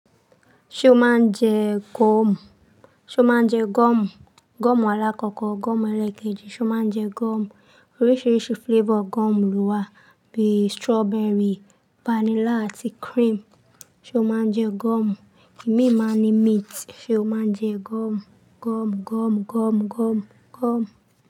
Ṣé o máa ń jẹ gọ́ọ̀mù? Ṣé o máa ń jẹ gọ́ọ̀mù? Gọ́ọ̀mù alákọkọ, gọ́ọ̀mù ẹlẹ́kẹ́jì, ṣé o máa ń jẹ gọ́ọ̀mù? Oríṣiríṣi flavour gọ́ọ̀mù ló wà bíi strawberry, vanilla àti cream. Ṣé o máa ń jẹ gọ́ọ̀mù? Ìmi máa ń ní mint. Ṣé o máa ń jẹ gọ́ọ̀mù? Gọ́ọ̀mù, gọ́ọ̀mù, gọ́ọ̀mù, gọ́ọ̀mù, gọ́ọ̀mù.